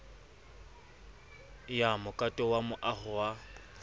ya mokato wa moaho oo